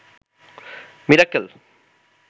Mirakkel